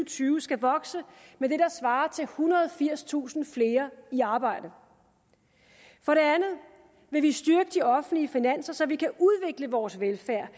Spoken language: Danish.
tyve skal vokse med det der svarer til ethundrede og firstusind flere i arbejde for det andet vil vi styrke de offentlige finanser så vi kan udvikle vores velfærd